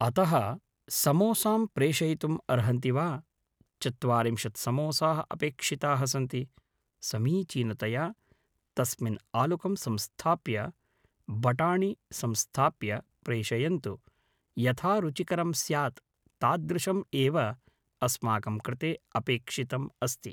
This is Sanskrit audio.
अतः समोसां प्रेषयितुम् अर्हन्ति वा चत्वारिंशत् समोसाः अपेक्षिताः सन्ति समीचीनतया तस्मिन् आलुकं संस्थाप्य बटाणि संस्थाप्य प्रेषयन्तु यथा रुचिकरं स्यात् तादृशम् एव अस्माकं कृते अपेक्षितम् अस्ति